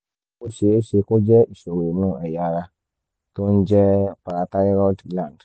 ó ṣeé ṣe kó jẹ́ ìṣòro inú ẹ̀yà ara tó ń jẹ́ parathyroid gland